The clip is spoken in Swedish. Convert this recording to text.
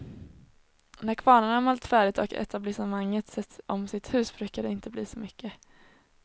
När kvarnarna malt färdigt och etablissemanget sett om sitt hus brukar det inte bli så mycket.